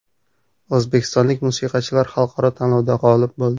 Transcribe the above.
O‘zbekistonlik musiqachilar xalqaro tanlovda g‘olib bo‘ldi.